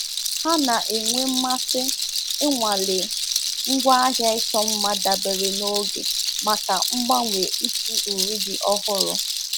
Ha na-enwe mmasị ịnwale ngwaahịa ịchọ mma dabere na oge maka mgbanwe isi uri dị ọhụrụ.